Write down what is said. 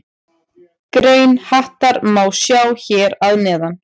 Grein Hattar má sjá hér að neðan.